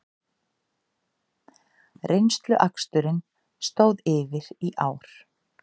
Reynsluaksturinn stóð yfir í ár